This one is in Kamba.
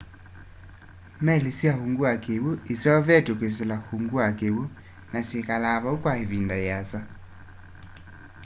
meli sya ungu wa kiwu iseuvitwe kwisila ungu wa kiwu na syikalaa vau kwa ivinda yiasa